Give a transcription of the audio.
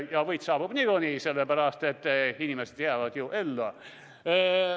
Ja võit saabub niikuinii, sellepärast et inimesed jäävad ju ellu.